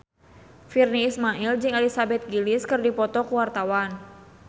Virnie Ismail jeung Elizabeth Gillies keur dipoto ku wartawan